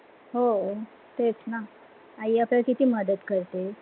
हो तेच ना आई आपल्याला किती मदत करते.